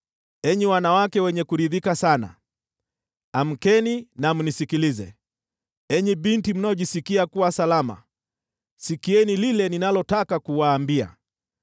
Enyi wanawake wenye kuridhika sana, amkeni na mnisikilize. Enyi binti mnaojisikia kuwa salama, sikieni lile ninalotaka kuwaambia!